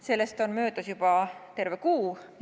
Sellest on möödas juba terve kuu.